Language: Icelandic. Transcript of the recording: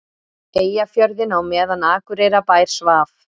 Eyjafjörðinn á meðan Akureyrarbær svaf.